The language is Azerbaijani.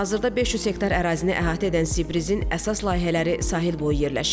Hazırda 500 hektar ərazini əhatə edən Sibrisin əsas layihələri sahilboyu yerləşir.